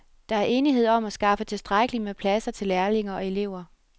Der er enighed om skaffe tilstrækkeligt med pladser til lærlinge og elever.